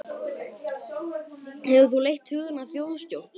Fréttamaður: Hefur þú leitt hugann að þjóðstjórn?